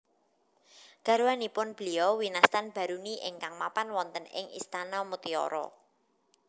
Garwanipun Beliau winastan Baruni ingkang mapan wonten ing istana mutiara